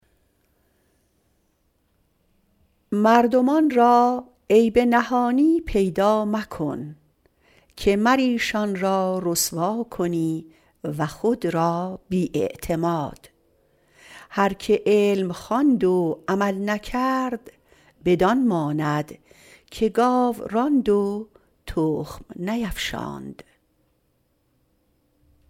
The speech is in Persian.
مردمان را عیب نهانی پیدا مکن که مر ایشان را رسوا کنی و خود را بی اعتماد هر که علم خواند و عمل نکرد بدان ماند که گاو راند و تخم نیفشاند